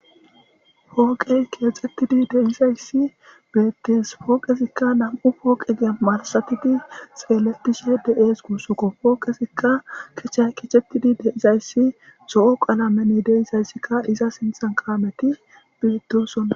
hooqey keexxxettidi deizayssi beettis pooqezikka nam7u pooqe gee marasatidi seeletishe de7ees guussukko pooqesikka kecha keechettidi deizayssi zo7o qaalamene deizayssikka iza sinthan qaameti bietosonna